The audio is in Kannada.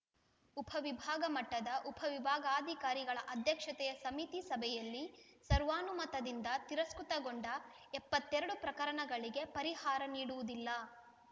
ಉಪ ವಿಭಾಗ ಮಟ್ಟದ ಉಪ ವಿಭಾಗಾಧಿಕಾರಿಗಳ ಅಧ್ಯಕ್ಷತೆಯ ಸಮಿತಿ ಸಭೆಯಲ್ಲಿ ಸರ್ವಾನುಮತದಿಂದ ತಿರಸ್ಕೃತಗೊಂಡ ಎಪ್ಪತ್ತೆರಡು ಪ್ರಕರಣಗಳಿಗೆ ಪರಿಹಾರ ನೀಡುವುದಿಲ್ಲ